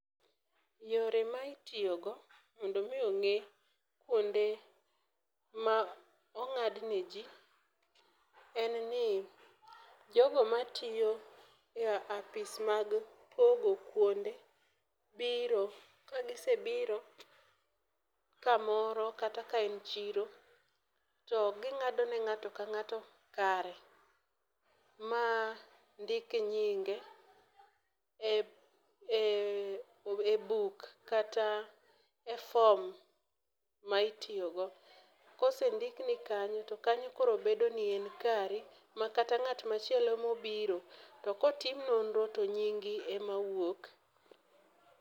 Yore ma itiyogo mondo omi ong'e kuonde ma ong'adne ji en ni, jogo ma tiyo e apis mag pogo kuonde biro kagisebiro kamoro kata ka en chiro to ging'ado ne ng'ato ka ng'ato kare ma ndik nyinge e buk kata e fom ma itiyogo. Kosendikni kanyo to kanyo koro bedo ni en kari, ma kata ng'atmachielo kobiro to kotim nonro to nyingi emawuok.